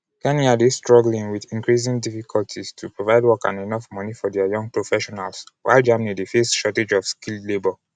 kenya dey struggling wit increasing difficulties to provide work and enof money for dia young professionals while germany dey face shortage of skilled labour.